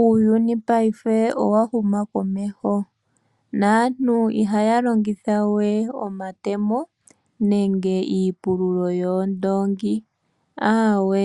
Uuyuni paife owahuma komeho naantu ihaya longitha we omatemo nenge iipululo yoondoongo aawe